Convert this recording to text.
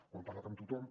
ho hem parlat amb tothom